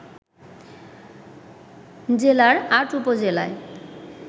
জেলার ৮ উপজেলায়